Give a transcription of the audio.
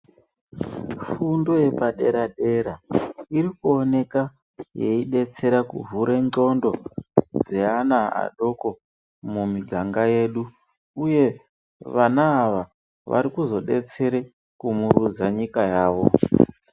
Fundo yepadera-dera irikuoneka yeidetsera kuvhure ndxondo dzeana adoko mumiganga yedu uye vana ava varikuzo detsere kumurudza nyika yavo.